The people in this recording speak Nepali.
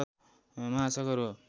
महासागर हो